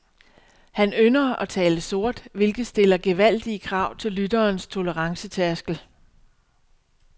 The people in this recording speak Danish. Han ynder at tale sort, hvilket stiller gevaldige krav til lytterens tolerancetærskel.